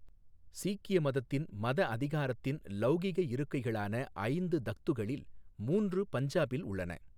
சீக்கிய மதத்தின் மத அதிகாரத்தின் லௌகிக இருக்கைகளான ஐந்து தக்த்துகளில் மூன்று பஞ்சாபில் உள்ளன.